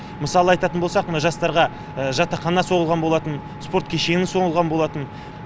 мысалы айтатын болсақ мына жастарға жатақхана соғылған болатын спорт кешені соғылған болатын